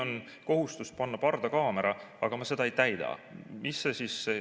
Kui on kohustus panna pardakaamera, aga ma seda ei täida, mis siis saab?